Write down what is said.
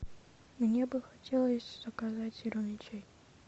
мне бы хотелось заказать зеленый чай